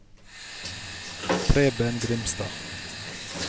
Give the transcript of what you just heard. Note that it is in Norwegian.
Preben Grimstad